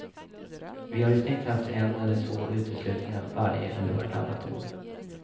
Vi har i snitt haft en eller två uteslutningar varje eller vartannat år.